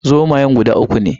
Zomayan guda uku ne